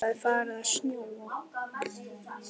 Verði frjáls.